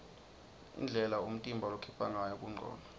indlela umtimba lokhipha ngayo kungcola